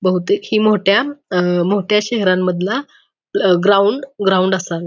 बहुतेक ही मोठ्या अ मोठ्या शहरानमधला ग्राउंड ग्राउंड असावा.